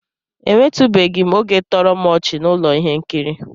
Enwetụbeghị m oge toro m ọchị na ụlọ ihe nkiri